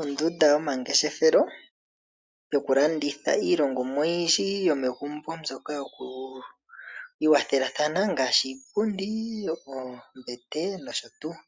Ondunda yomangeshefelo yokulanditha iilongomwa oyindji yomegumbo mbyoka yokwiiwathelathana ngaashi iipundi, oombete nosho tuu.